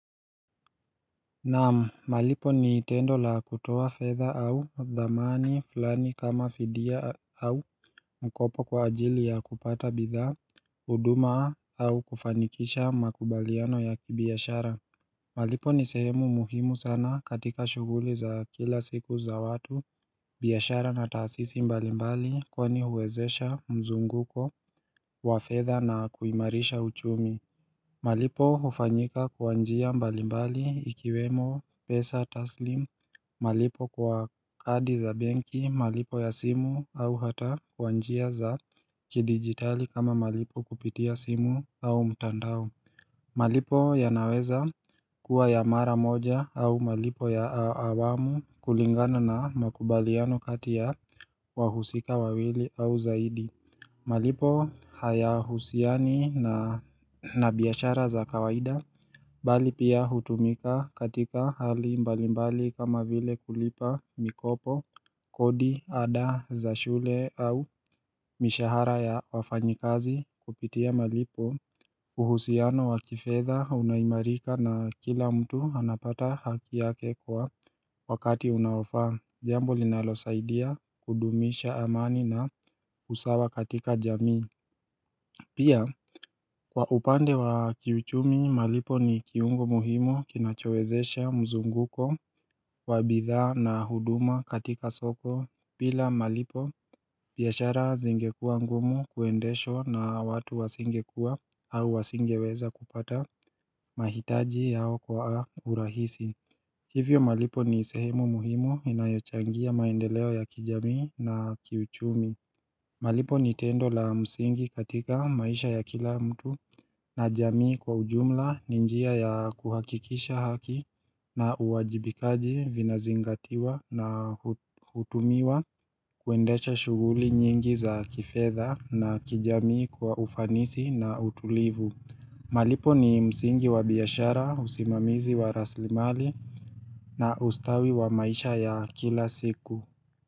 Naam malipo ni tendo la kutoa fedha au dhamani fulani kama fidia au mkopo kwa ajili ya kupata bidhaa huduma au kufanikisha makubaliano ya kibiashara malipo nisehemu muhimu sana katika shuguli za kila siku za watu biashara na taasisi mbalimbali kwa ni huwezesha mzunguko wa fedha na kuimarisha uchumi malipo hufanyika kwa njia mbalimbali ikiwemo pesa taslim, malipo kwa kadi za benki, malipo ya simu au hata kwa njia za kidigitali kama malipo kupitia simu au mtandao malipo ya naweza kuwa ya mara moja au malipo ya awamu kulingana na makubaliano kati ya wahusika wawili au zaidi malipo haya husiani na biashara za kawaida Bali pia hutumika katika hali mbalimbali kama vile kulipa mikopo kodi ada za shule au mishahara ya wafanyikazi kupitia malipo uhusiano wakifedha unaimarika na kila mtu anapata hakiyake kwa wakati unaofa Jambo linalo saidia kudumisha amani na usawa katika jamii Pia kwa upande wa kiuchumi malipo ni kiungo muhimu kinachowezesha mzunguko wa bidhaa na huduma katika soko bila malipo biashara zingekua ngumu kuendeshwa na watu wasingekua au wasingeweza kupata mahitaji yao kwa urahisi Hivyo malipo ni sehemu muhimu inayochangia maendeleo ya kijami na kiuchumi malipo ni tendo la msingi katika maisha ya kila mtu na jamii kwa ujumla ninjia ya kuhakikisha haki na uwajibikaji vinazingatiwa na hutumiwa kuendesha shuguli nyingi za kifedha na kijamii kwa ufanisi na utulivu malipo ni msingi wa biashara usimamizi wa rasilimali na ustawi wa maisha ya kila siku.